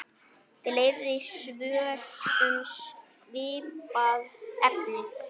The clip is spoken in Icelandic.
Fleiri svör um svipað efni